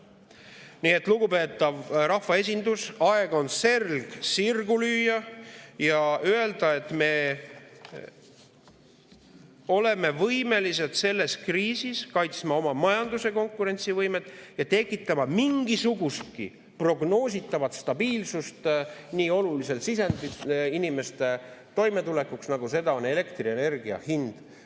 Nii et, lugupeetav rahvaesindus, aeg on selg sirgu lüüa ja öelda, et me oleme võimelised selles kriisis kaitsma oma majanduse konkurentsivõimet ja tekitama mingisugustki prognoositavat stabiilsust nii olulises sisendis inimeste toimetulekuks, nagu seda on elektrienergia hind.